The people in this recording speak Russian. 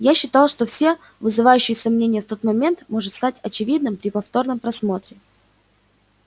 я считал что всё вызывающее сомнения в тот момент может стать очевидным при повторном просмотре